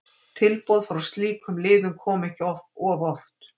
Tilboð frá slíkum liðum koma ekki of oft.